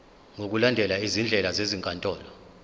ngokulandela izindlela zezinkantolo